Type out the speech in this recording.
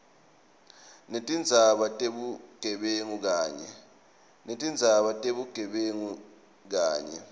netindzaba tebugebengu kanye